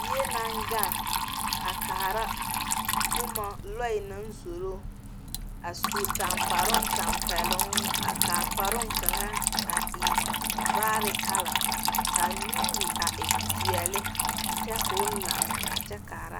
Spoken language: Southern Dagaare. Bie naŋ gaŋ a kaara boma lͻԑ naŋ zoro. A su taŋkparoo tampԑloŋ a kaa kparoŋ kaŋa a e vaare kala kaa nuuri a e peԑle kyԑ koo la a kyԑ kaara.